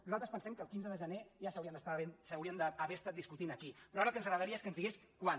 nosaltres pensem que el quinze de gener ja s’haurien d’haver estat discutint aquí però ara el que ens agradaria és que ens digués quan